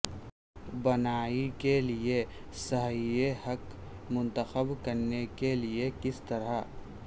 بنائی کے لئے صحیح ہک منتخب کرنے کے لئے کس طرح